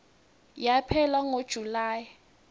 yaphela ngo july